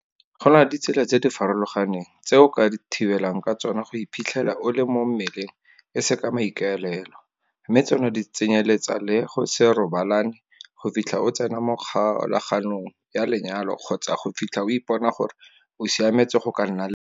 Go na le ditsela tse di farologaneng tse o ka thibelang ka tsona go iphitlhele o le mo mmeleng e se ka maikaelelo, mme tsona di tsenyeletsa le go se robalane go fitlha o tsena mo kgolaganong ya lenyalo kgotsa go fitlha o ipona gore o siametse go ka nna le bana.